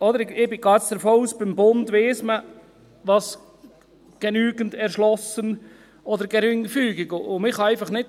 Ich gehe jetzt davon aus, dass man beim Bund weiss, was «genügend erschlossen» oder «geringfügig» bedeutet.